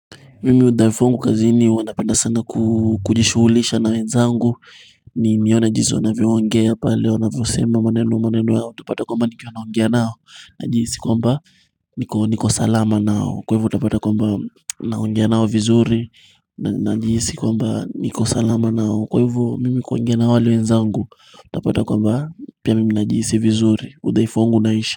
Mimi udhaifu wangu kazini huwa napenda sana kujishughulisha na wenzangu nione jinsi wanavyoongea pale wanavyosema maneno, maneno yao utupata kwamba nikiwa naongea nao Najihisi kwamba niko salama nao Kwahivyo utapata kwamba naongea nao vizuri Najihisi kwamba niko salama nao Kwahivyo mimi kuongea na wale wenzangu utapata kwamba pia mimi najihisi vizuri udhaifu wangu unaisha.